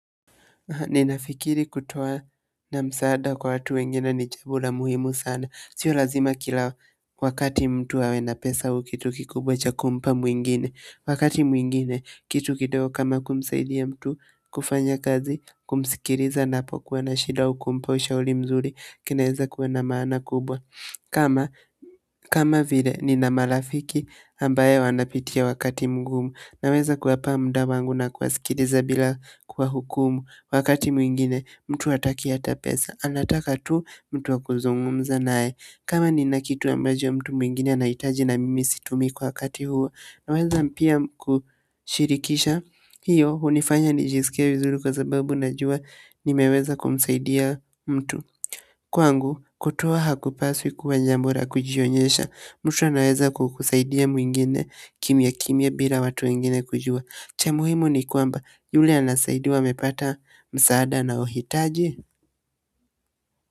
Ninafikiri kutoa msaada kwa watu wengine ni jambo muhimu sana. Si lazima kila wakati mtu awe na pesa au kitu kikubwa cha kumpa mwingine. Wakati mwingine kitu kidogo kama kumsaidia mtu kufanya kazi, kumsikiliza anapokuwa na shida, kumpa ushauri mzuri kunaweza kuwa na maana kubwa. Kama vile nina marafiki ambao wanapitia wakati mgumu. Naweza kuwapa muda wangu na kuwasikiliza bila kuwahukumu. Wakati mwingine, mtu hataki hata pesa. Anataka tu, mtu wa kuzungumza naye. Kama nina kitu ambacho mtu mwingine anahitaji na mimi situmii kwa wakati huo. Naweza pia kushirikisha. Hiyo hufanya nijisikie vizuri kwa sababu najua nimeweza kumsaidia mtu. Kwangu, kutoa hakupaswi kuwa jambo la kujionyesha. Mtu anaweza kumsaidia mwingine kimyakimya bila watu wengine kujua. Cha muhimu ni kwamba yule anasaidiwa amepata msaada anaohitaji.